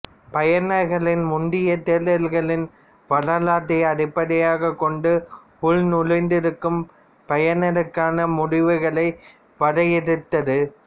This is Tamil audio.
பயனர்களின் முந்தைய தேடல்களின் வரலாற்றை அடிப்படையாக கொண்டு உள்நுழைந்திருக்கும் பயனருக்கான முடிவுகளை வரையறுத்தது